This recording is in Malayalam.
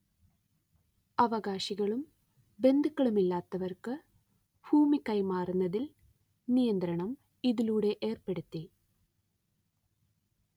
അവകാശികളും ബന്ധുക്കളുമല്ലാത്തവർക്ക് ഭൂമി കൈമാറുന്നതിൽ നിയന്ത്രണം ഇതിലൂടെ ഏർപ്പെടുത്തി